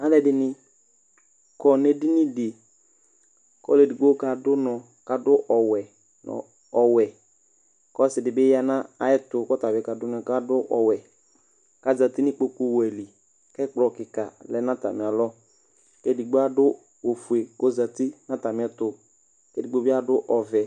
aloɛdini kɔ n'edini di k'ɔlo edigbo kado unɔ k'ado ɔwɛ ɔwɛ k'ɔse di bi ya n'ayɛto k'ɔtabi kado unɔ k'ado ɔwɛ k'azati n'ikpoku wɛ li k'ɛkplɔ keka lɛ n'atamialɔ k'edigbo ado ofue kò ozati n'atamiɛto k'edigbo bi ado ɔvɛ